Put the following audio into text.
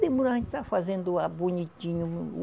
Demora, a gente está fazendo o a bonitinho.